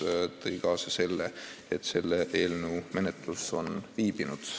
See kõik tõi kaasa selle, et selle eelnõu menetlus on viibinud.